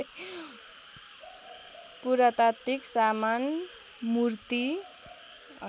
पुरातात्विक सामान मूर्ति